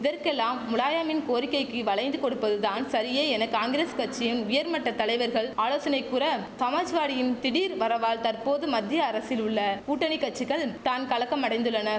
இதற்கெல்லாம் முலாயமின் கோரிக்கைக்கி வளைந்து கொடுப்பது தான் சரியே என காங்கிரஸ் கச்சியின் உயர்மட்ட தலைவர்கள் ஆலோசனை கூற சமாஜ்வாடியின் திடீர் வரவால் தற்போது மத்திய அரசில் உள்ள கூட்டணி கச்சிகள் தான் கலக்கம் அடைந்துள்ளன